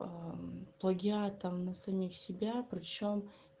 аа плагиатом на самих себя при чем